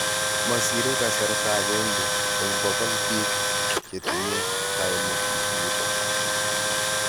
Masire kasarta agenge eng pokol biik chetinye kaimet nitok.